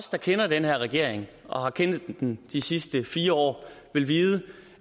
der kender den her regering og har kendt den igennem de sidste fire år vil vide